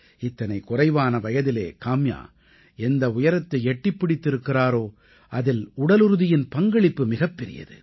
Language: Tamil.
இத்தனை குறைவான வயதிலே காம்யா எந்த உயரத்தை எட்டிப் பிடித்திருக்கிறாரோ அதில் உடலுறுதியின் பங்களிப்பு மிகப்பெரியது